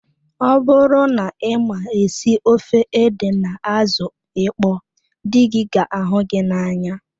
Ọ bụrụ na ịma esi ofe ede na azụ ịkpọ dị gị ga ahụ gị n'anya